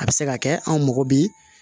A bɛ se ka kɛ anw mɔgɔ bi